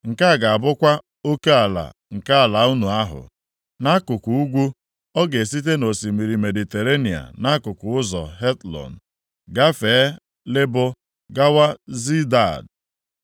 “Nke a ga-abụkwa oke ala nke ala unu ahụ. “Nʼakụkụ ugwu, ọ ga-esite nʼosimiri Mediterenịa nʼakụkụ ụzọ Hetlon, gafee Lebo gawa Zedad,